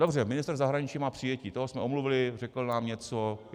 Dobře, ministr zahraničí má přijetí, toho jsme omluvili, řekl nám něco.